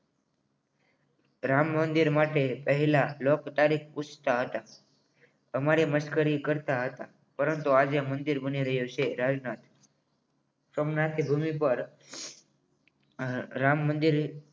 રામ મંદિર માટે પહેલા લોકો તારીખ પૂછતા હતા આ મારી મશ્કરી કરતા હતા પરંતુ આજે મંદિર બની રહ્યું છે સોમનાથની ભૂમિ પર રામ મંદિર